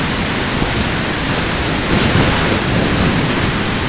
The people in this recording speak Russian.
байерли говорил дружелюбно